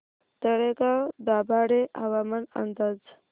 तळेगाव दाभाडे हवामान अंदाज